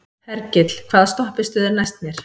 Hergill, hvaða stoppistöð er næst mér?